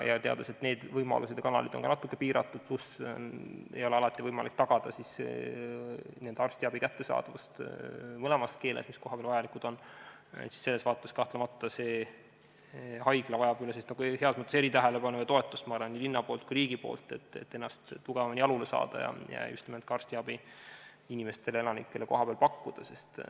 Teades, et need võimalused ja kanalid on ka natuke piiratud, pluss alati ei ole võimalik tagada arstiabi kättesaadavust mõlemas keeles, mis kohapeal vajalikud on, siis selles vaates kahtlemata vajab see haigla heas mõttes eritähelepanu ja toetust nii linnalt kui ka riigilt, et seada ennast tugevamini jalule ja inimestele kohapeal arstiabi pakkuda.